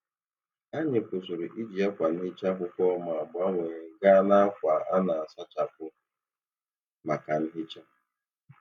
Anyị kwụsịrị iji akwa nhicha akwụkwọ ma gbanwee gaa n'akwa a na-asachapụ maka nhicha.